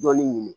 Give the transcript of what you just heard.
Dɔɔnin ɲini